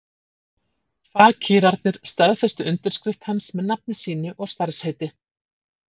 Fakírarnir staðfestu undirskrift hans með nafni sínu og starfsheiti.